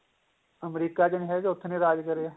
America ਚ ਨੀਂ ਹੈ ਉੱਥੇ ਨੀਂ ਰਾਜ ਕਰੇਗਾ